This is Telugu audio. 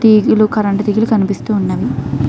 టీవీ లు కరెంట్ తెగలు కనిపిస్తూ ఉన్నావి.